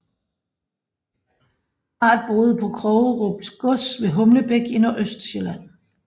Parret boede på Krogerup gods ved Humlebæk i Nordøstsjælland